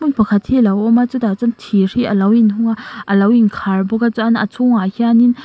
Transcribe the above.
hmun pakhat hi a lo awm a chutah chuan thîr hi a lo inhung a a lo inkhâr bawk a chuan a chhûngah hianin.